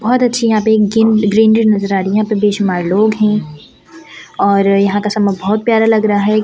बहुत अच्छी यहां पे ग्रीनरी नजर आ रही है यहां पे बेशुमार लोग हैं और यहां का समय बहुत प्यारा लग रहा है।